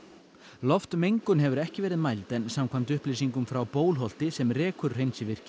loftmengun hefur ekki verið mæld en samkvæmt upplýsingum frá Bólholti sem rekur